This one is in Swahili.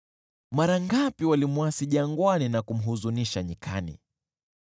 Mara ngapi walimwasi jangwani na kumhuzunisha nyikani!